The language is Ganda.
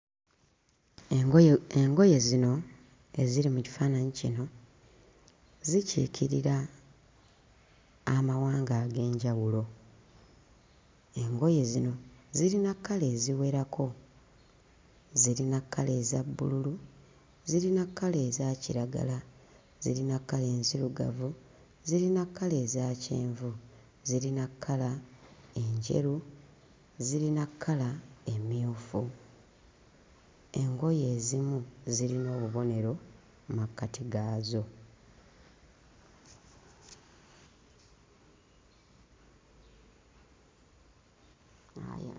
Engoye engoye zino eziri mu kifaananyi kino zikiikirira amawanga ag'enjawulo. Engoye zino zirina kkala eziwerako: zirina kkala eza bbululu, zirina kkala eza kiragala, zirina kkala enzirugavu, zirina kkala eza kyenvu, zirina kkala enjeru, zirina kkala emmyufu. Engoye ezimu zirina obubonero mu makkati gaazo.